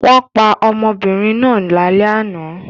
Wọ́n pa ọmọbìnrin náà lálẹ́ àná.